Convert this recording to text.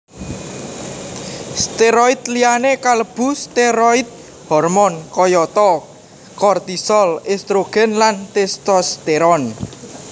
Steroid liyané kalebu steroid hormon kayata kortisol estrogen lan testosteron